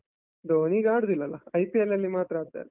ಧೋನಿ ಈಗ ಆಡುದಿಲ್ಲಲ? IPL ನಲ್ಲಿ ಮಾತ್ರ ಆಡ್ತಾರೆ.